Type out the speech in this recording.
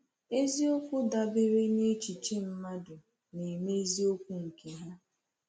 Eziokwu dabere n’echiche-mmadụ na-eme eziokwu nke ha.